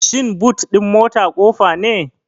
Shin boot din mota ƙofa ne?